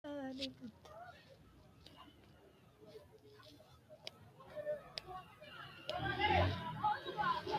Qucumi yee biifino koattete tini saadate gogano karsine hocono karsine loonse biifinse loonsonihu labbalu lukkano koatte ikkase sonisenni bade afe kaoommo.